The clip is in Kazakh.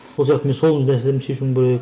сол сияқты мен сол нәрселерімді шешуім керек